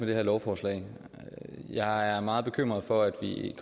det her lovforslag jeg er meget bekymret for at vi